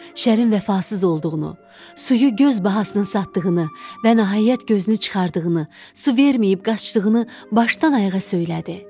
Şərin vəfasız olduğunu, suyu göz bahasına satdığını və nəhayət gözünü çıxardığını, su verməyib qaçdığını başdan ayağa söylədi.